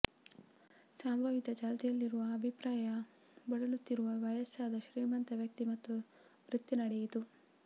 ಸಂಭಾವಿತ ಚಾಲ್ತಿಯಲ್ಲಿರುವ ಅಭಿಪ್ರಾಯ ಬಳಲುತ್ತಿರುವ ವಯಸ್ಸಾದ ಶ್ರೀಮಂತ ವ್ಯಕ್ತಿ ಮತ್ತು ವೃತ್ತಿ ನಡೆಯಿತು